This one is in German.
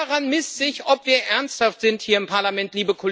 Daran misst sich, ob wir ernsthaft sind hier im Parlament.